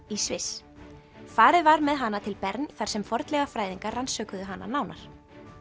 í Sviss farið var með hana til Bern í þar sem fornleifafræðingar rannsökuðu hana nánar